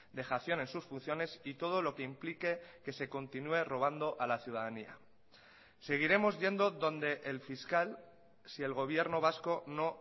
dejación en sus funciones y todo lo que implique que se continúe robando a la ciudadanía seguiremos yendo donde el fiscal si el gobierno vasco no